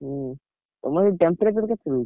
ହୁଁ ତମର ସେଠି temperature କେତେ ରହୁଛି?